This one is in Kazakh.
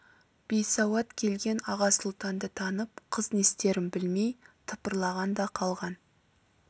бейсауат келген аға сұлтанды танып қыз не істерін білмей тыпырлаған да қалған